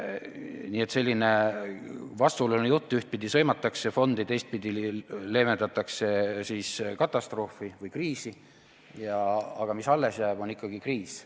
Nii et selline vastuoluline jutt, ühtpidi sõimatakse fonde, teistpidi leevendatakse katastroofi või kriisi, aga mis alles jääb, on ikkagi kriis.